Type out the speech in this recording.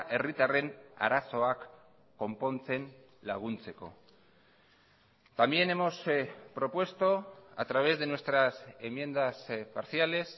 herritarren arazoak konpontzen laguntzeko también hemos propuesto a través de nuestras enmiendas parciales